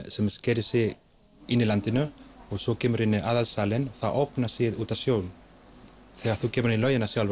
sem sker sig inn í landið svo kemur þú inn í aðalsalinn og þá opnast út á sjó þegar þú kemur í laugina sjálf